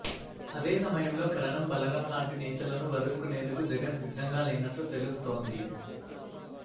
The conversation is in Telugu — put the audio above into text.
అదేసమయంలో కరణం బలరాం లాంటి నేతలను వదులుకునేందుకు జగన్ సిద్ధంగా లేనట్లు తెలుస్తోంది